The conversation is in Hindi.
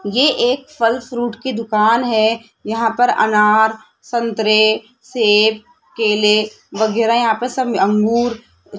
ये एक फल फ्रूट की दुकान है यहां पर अनार संतरे सेब केले वगैरा यहां पे सब अंगूर --